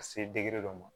Ka se dɔ ma